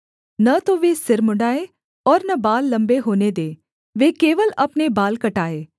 न तो वे सिर मुँण्ड़ाएँ और न बाल लम्बे होने दें वे केवल अपने बाल कटाएँ